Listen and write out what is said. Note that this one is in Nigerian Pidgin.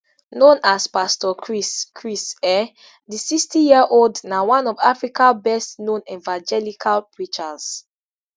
known as pastor chris chris um di sixtyyearold na one of africa bestknown evangelical preachers